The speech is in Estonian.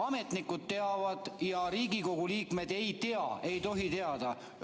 Ametnikud teavad, aga Riigikogu liikmed ei tohi teada.